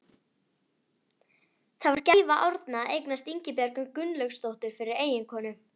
Það var gæfa Árna að eignast Ingibjörgu Gunnlaugsdóttur fyrir eiginkonu.